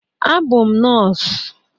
Abụ m nọs.